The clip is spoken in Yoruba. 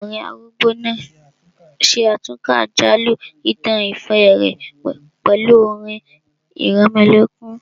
Ọkùnrin arúgbó náà ṣe àtúnkà àjálù ìtàn ìfẹ́ rẹ̀ pẹ̀lú orin ìrẹmọlẹ́kún